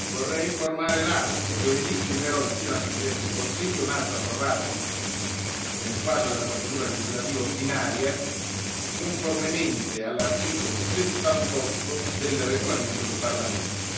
Vorrei informare l'Aula che giovedì firmerò, insieme al Presidente del Consiglio, un atto approvato nel quadro della procedura legislativa ordinaria, conformemente all'articolo 78 del regolamento del Parlamento.